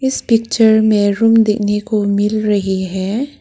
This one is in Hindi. इस पिक्चर में रूम देखने को मिल रही है।